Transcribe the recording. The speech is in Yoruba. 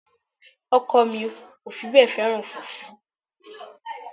Ọkọ mi ò fi bẹ́ẹ̀ fẹ́ràn fùfú